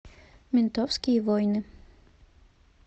ментовские войны